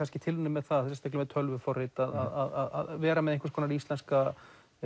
tilraunir með það og sérstaklega með tölvuforrit að vera með íslenska